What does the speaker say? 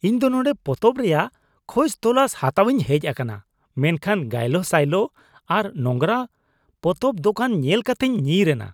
ᱤᱧ ᱫᱚ ᱱᱚᱰᱮᱸ ᱯᱚᱛᱚᱵ ᱨᱮᱭᱟᱜ ᱠᱷᱚᱡ ᱛᱚᱞᱟᱥ ᱦᱟᱛᱟᱣᱤᱧ ᱦᱮᱡ ᱟᱠᱟᱱᱟ ᱢᱮᱱᱠᱷᱟᱱ ᱜᱟᱭᱞᱳ ᱥᱟᱭᱞᱳ ᱟᱨ ᱱᱳᱝᱨᱟ ᱯᱚᱛᱚᱵ ᱫᱚᱠᱟᱱ ᱧᱮᱞ ᱠᱟᱛᱮᱧ ᱧᱤᱨ ᱮᱱᱟ ᱾